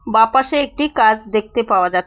বা পাশে একটি কাঁচ দেখতে পাওয়া যাছ--